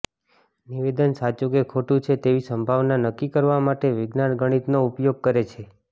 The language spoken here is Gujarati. નિવેદન સાચું કે ખોટું છે તેવી સંભાવના નક્કી કરવા માટે વિજ્ઞાન ગણિતનો ઉપયોગ કરે છે